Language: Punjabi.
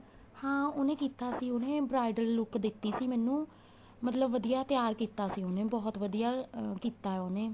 ਹਾਂ ਉਹਨੇ ਕੀਤਾ ਸੀ ਉਹਨੇ bridal look ਦਿੱਤੀ ਸੀ ਮੈਨੂੰ ਮਤਲਬ ਵਧੀਆ ਤਿਆਰ ਕੀਤਾ ਸੀ ਉਹਨੇ ਬਹੁਤ ਵਧੀਆ ਕੀਤਾ ਉਹਨੇ